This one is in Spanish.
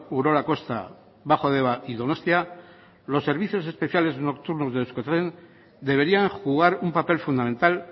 urola kosta bajo deba y donostia los servicios especiales nocturnos de euskotren deberían jugar un papel fundamental